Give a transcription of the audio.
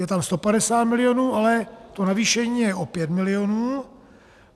Je tam 150 milionů, ale to navýšení je o 5 milionů.